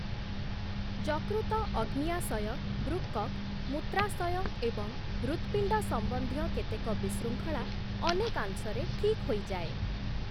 ଯକୃତ, ଅଗ୍ନ୍ୟାଶୟ, ବୃକକ୍, ମୂତ୍ରାଶୟ ଏବଂ ହୃତ୍‌ପିଣ୍ଡ ସମ୍ବନ୍ଧୀୟ କେତେକ ବିଶୃଙ୍ଖଳା ଅନେକାଂଶରେ ଠିକ୍ ହୋଇଯାଏ ।